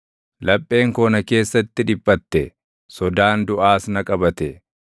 Lapheen koo na keessatti dhiphatte; sodaan duʼaas na qabate.